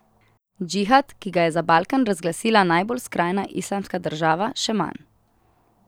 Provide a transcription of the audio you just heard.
Džihad, ki ga je za Balkan razglasila najbolj skrajna Islamska država, še manj.